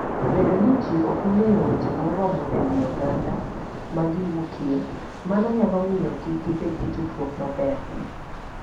Bedo ni ji ok ong'eyo weche moromo e wi oganda ma giwuokie, mano nyalo miyo kik gibed gi tudruok maber.